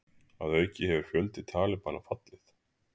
Að auki hefur fjöldi Talibana fallið